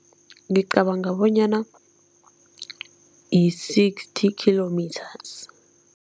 Ngicabanga bonyana yi-sixty kilometres.